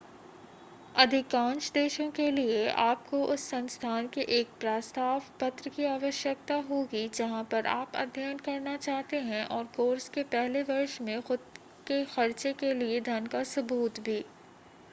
अधिकांश देशों के लिए आपको उस संस्थान से एक प्रस्ताव पत्र की आवश्यकता होगी जहां पर आप अध्ययन करना चाहते है और कोर्स के पहले वर्ष में खुद क खर्चे के लिए धन का सबूत भी